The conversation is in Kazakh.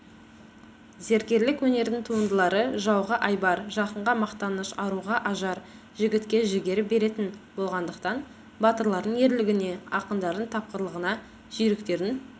зергерлік өнердің туындылары жауға айбар жақынға мақтаныш аруға ажар жігітке жігер беретін болғандықтан батырлардың ерлігіне ақындардың тапқырлығына жүйріктердің